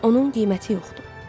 Onun qiyməti yoxdur.